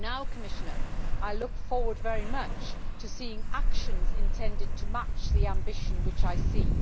Commissioner, I now look forward very much to seeing actions intended to match the ambition which I see.